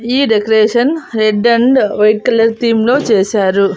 ఈ decoration red and white colour theme లో చేశారు.